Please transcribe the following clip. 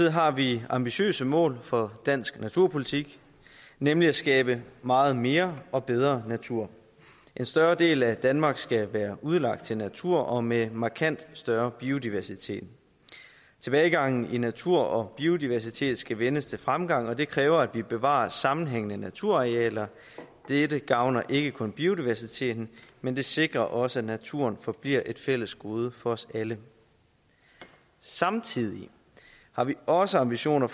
har vi ambitiøse mål for dansk naturpolitik nemlig at skabe meget mere og bedre natur en større del af danmark skal være udlagt til natur og med markant større biodiversitet tilbagegangen i natur og biodiversitet skal vendes til fremgang og det kræver at vi bevarer sammenhængende naturarealer dette gavner ikke kun biodiversiteten men det sikrer også at naturen forbliver et fælles gode for os alle samtidig har vi også ambitioner